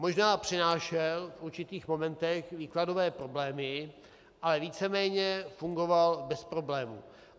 Možná přinášel v určitých momentech výkladové problémy, ale víceméně fungoval bez problémů.